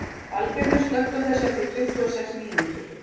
Valgerður, slökktu á þessu eftir tuttugu og sex mínútur.